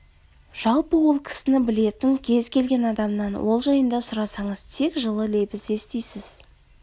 жалпы ол кісіні білетін кез келген адамнан ол жайында сұрасаңыз тек жылы лебіз естисіз